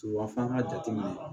Wa f'an ka jateminɛ